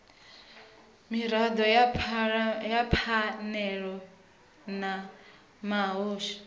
mirado ya phanele na muhasho